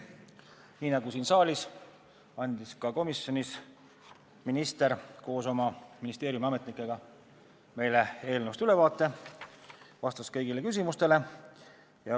Nii nagu siin saalis andis minister koos oma ministeeriumi ametnikega meile ka komisjonis eelnõust ülevaate ja vastas kõigile küsimustele.